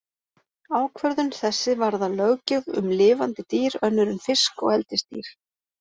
Ákvörðun þessi varðar löggjöf um lifandi dýr önnur en fisk og eldisdýr.